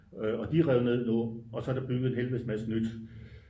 og de er revet ned nu og så er der bygget en helvedes masse nyt